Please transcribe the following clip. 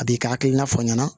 A b'i ka hakilina fɔ aw ɲɛna